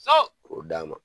So o d'a ma